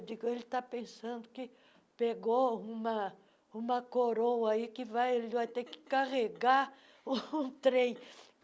Eu digo, ele está pensando que pegou uma uma coroa aí que vai que ele vai ter que carregar o trem.